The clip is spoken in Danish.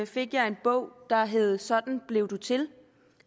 fik jeg en bog der hed sådan blev du til